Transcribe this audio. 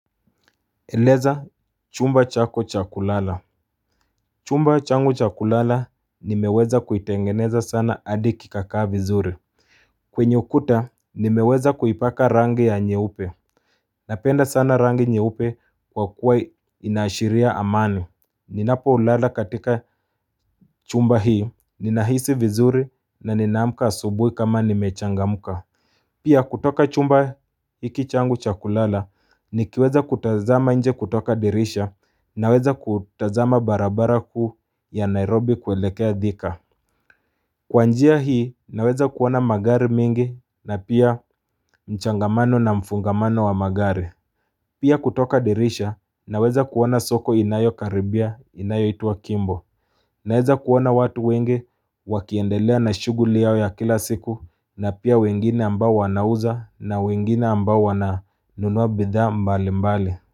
Eleza chumba chako chakulala Chumba changu cha kulala nimeweza kuitengeneza sana hadi kikakaa vizuri kwenye ukuta nimeweza kuipaka rangi ya nyeupe Napenda sana rangi nyeupe kwa kuwa inaashiria amani Ninapolala katika chumba hii ninahisi vizuri na ninaamka asubuhi kama nimechangamka Pia kutoka chumba hiki changu cha kulala Nikiweza kutazama nje kutoka dirisha naweza kutazama barabara kuu ya Nairobi kuelekea Thika Kwa njia hii naweza kuona magari mingi na pia mchangamano na mfungamano wa magari Pia kutoka dirisha naweza kuona soko inayokaribia inayoitwa Kimbo Naweza kuona watu wengi wakiendelea na shughuli yao ya kila siku na pia wengine ambao wanauza na wengine ambao wananunua bidhaa mbalimbali.